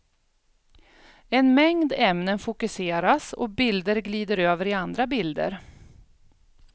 En mängd ämnen fokuseras och bilder glider över i andra bilder.